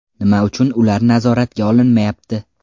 Nima uchun ular nazoratga olinmayapti?